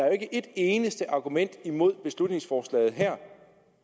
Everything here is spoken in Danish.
jo ikke et eneste argument imod beslutningsforslaget her